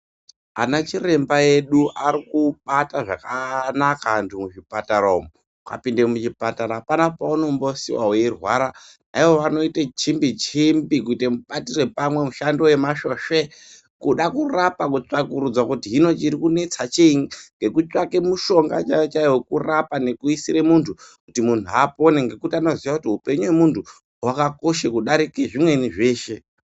Ana chiremba edu arikubata zvakanaka antu muzvipatara umwo ukapinde muchipatara apana paunombosiiwe weirwa Ivo vanoite chimbi chimbi kuite mubatira pamwe mushando wemasvosve kuda kurapa kutsvakurudza kuti hino chiri kuinetsa chiini ngekutsvake mushonga chaiwo chaiwo wekurapa ngekuisire muntu kuti muntu apone ngekuti vanoziye kuti mupenyu hwemuntu hwakakosha kudarika zvimweni zveshe .